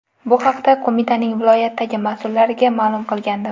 Bu haqda qo‘mitaning viloyatdagi mas’ullariga ma’lum qilgandim.